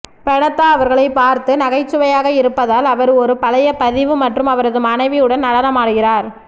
பெனாதா அவர்களைப் பார்த்து நகைச்சுவையாக இருப்பதால் அவர் ஒரு பழைய பதிவு மற்றும் அவரது மனைவியுடன் நடனமாடுகிறார்